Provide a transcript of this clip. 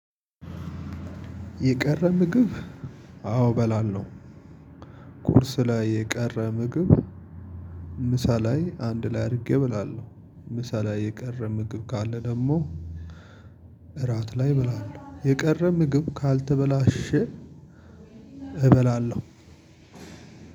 የቀረ ምግብ አዎ በላለው ቁርስ ላይ የቀረ ምግብ ምሳ ላይ አንድ ላይ አድርጌ ብላለሁ። ምሳ ላይ የቀረ ምግብ ካለ ደግሞ እራት ላይ እበላለሁ የቀረ ምግብ ካልተበላሸ እበላለሁ።